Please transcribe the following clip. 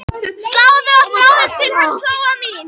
Sláðu á þráðinn til hans, Lóa mín.